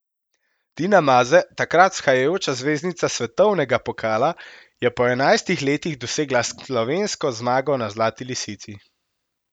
Tina Maze, takrat vzhajajoča zvezdnica svetovnega pokala, je po enajstih letih dosegla slovensko zmago na Zlati lisici.